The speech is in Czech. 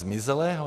Zmizelého?